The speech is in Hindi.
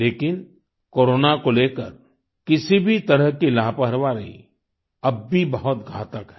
लेकिन कोरोना को लेकर किसी भी तरह की लापरवाही अब भी बहुत घातक है